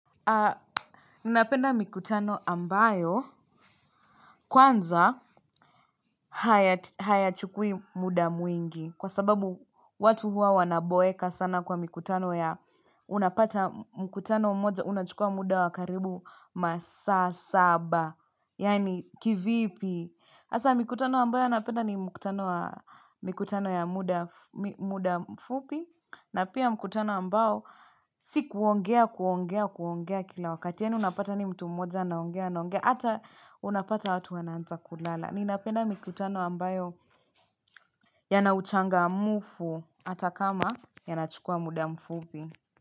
Ninapenda mikutano ambayo kwanza hayachukui muda mwingi kwa sababu watu huwa wanaboeka sana kwa mikutano ya unapata mkutano mmoja unachukua muda wa karibu masaa saba. Yaani kivipi hasa mikutano ambayo napenda ni mkutano wa mikutano ya muda muda mfupi na pia mkutano ambao si kuongea kuongea kuongea kila wakati. Yaani unapata ni mtu mmoja anaongea anaongea. Hata unapata watu wanaanza kulala. Ninapenda mikutano ambayo yana uchangamfu hata kama yanachukua muda mfupi.